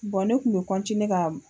Bɔn ne kun be kɔntiniye ka